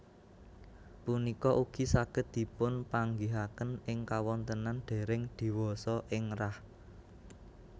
Punika ugi saged dipunpanggihaken ing kawontenan dèrèng diwasa ing rah